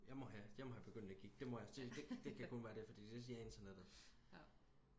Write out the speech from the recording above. jeg må have jeg må have begyndende gigt det må jeg det kan kun være det fordi det siger internettet